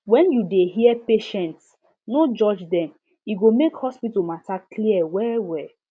when you dey hear patients no judge dem e go make hospital matter clear well well